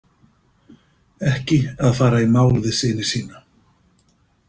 Ekki að fara í mál við syni sína.